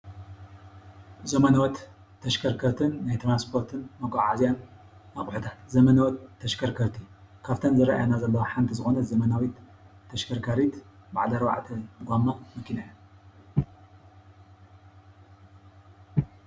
ዘመነወት ተሽከርከርትን ናይ ትራንስፖትን መጓዓዓዝያን ኣቁሕታት ፡- ዘመነወት ተሽከርከርቲ ካፍተን ዝረአያና ዘለዋ ሓንቲ ዝኮነት ዘመናዊት ተሽከርከሪት በዓል ኣርባዕተ ጎማ ማኪና እያ፡፡